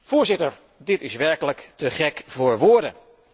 Voorzitter, dit is werkelijk te gek voor woorden.